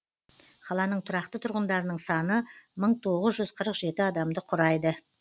қаланың тұрақты тұрғындарының саны мың тоғыз жүз қырық жеті адамды құрайды